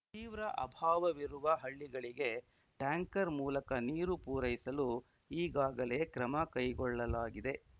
ತೀವ್ರ ಅಭಾವವಿರುವ ಹಳ್ಳಿಗಳಿಗೆ ಟ್ಯಾಂಕರ್‌ ಮೂಲಕ ನೀರು ಪೂರೈಸಲು ಈಗಾಗಲೇ ಕ್ರಮ ಕೈಗೊಳ್ಳಲಾಗಿದೆ